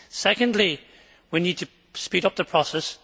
second, we need to speed up the process